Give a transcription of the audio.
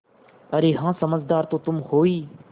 अरे हाँ समझदार तो तुम हो ही